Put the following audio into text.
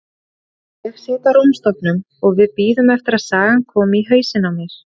Ég sit á rúmstokknum og við bíðum eftir að sagan komi í hausinn á mér.